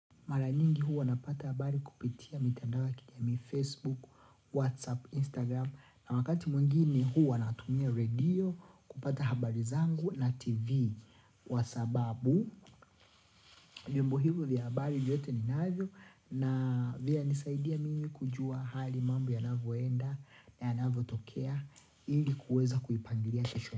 Mara nyingi huwa napata habari kupitia mitandao ya kijamii Facebook, Whatsapp, Instagram na wakati mwingini huu wanatumia radio kupata habari zangu na TV kwa sababu, vyombo hivyo vya habari vyote ni navio na vyanisaidia mimi kujua hali mambo yanavyoenda na yanavyo tokea, ili kuweza kuipangilia kesho.